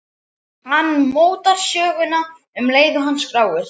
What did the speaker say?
Hann mótar söguna um leið og hann skráir.